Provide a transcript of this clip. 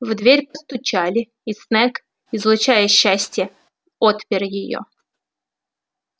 в дверь постучали и снегг излучая счастье отпер её